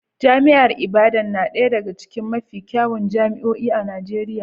Jami'ar Ibadan na ɗaya daga cikin mafi kyawun jami'o'i a Najeriya